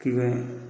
Ki bɛ